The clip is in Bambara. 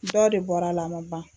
Dɔ de bɔra a la a ma ban.